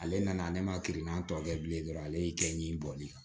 Ale nana ne ma kirinan tɔ kɛ bilen dɔrɔn ale y'i kɛ ɲi bɔli ye